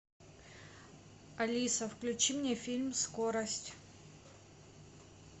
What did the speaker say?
алиса включи мне фильм скорость